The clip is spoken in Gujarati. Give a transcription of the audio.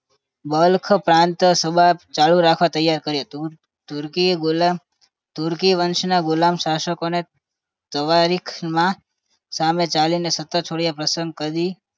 બલખ પ્રાંત સભા ચાલુ રાખવા ત્યાર હતું તુર્કી બોલા તુર્કી વંશના ગુલામ શાસકોને સાવરીકમાં સામે ચાલીની સત્તા છોડી પસંદ કરી